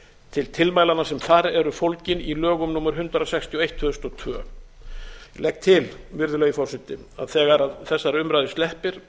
til tilmælanna sem þar eru fólgin í lögum númer hundrað sextíu og eitt tvö þúsund og tvö ég legg til virðulegi forseti að þegar þessari umræðu sleppir